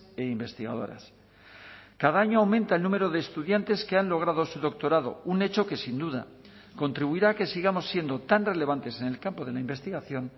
e investigadoras cada año aumenta el número de estudiantes que han logrado su doctorado un hecho que sin duda contribuirá a que sigamos siendo tan relevantes en el campo de la investigación